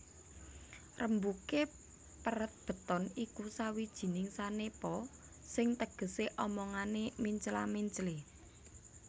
Rembugé peret beton iku sawijining sanepa sing tegesé omongané mencla menclé